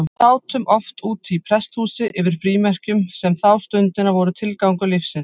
Við sátum oft úti í prestshúsi yfir frímerkjum, sem þá stundina voru tilgangur lífsins.